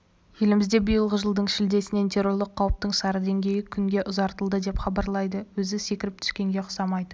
елімізде биылғы жылдың шілдесінен террорлық қауіптің сары деңгейі күнге ұзартылды деп хабарлайды өзі секіріп түскенге ұқсамайды